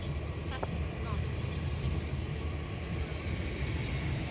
catholics not in communion with rome